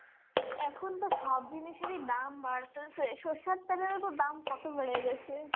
এখন তো সব জিনিসেরই দাম বাড়তেসে, সরিষার তেলের ও তো দাম কত বেড়ে গেসে.